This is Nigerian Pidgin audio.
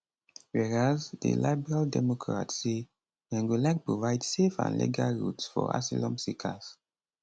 whereas di liberal democrats say dem go like provide safe and legal routes for asylum seekers